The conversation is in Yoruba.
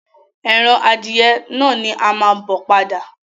Ẹran adìẹ náà ni a máa bo padà.